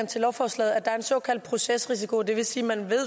til lovforslaget at der er en såkaldt procesrisiko det vil sige at man